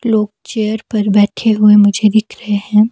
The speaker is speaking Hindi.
लोग चेयर पर बैठे हुए मुझे दिख रहे हैं।